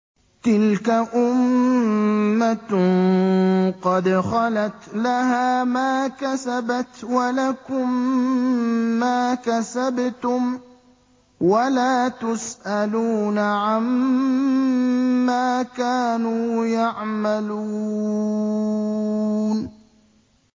تِلْكَ أُمَّةٌ قَدْ خَلَتْ ۖ لَهَا مَا كَسَبَتْ وَلَكُم مَّا كَسَبْتُمْ ۖ وَلَا تُسْأَلُونَ عَمَّا كَانُوا يَعْمَلُونَ